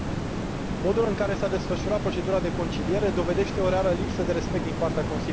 Modul în care s a desfășurat procedura de conciliere dovedește o rară lipsă de respect din partea Consiliului.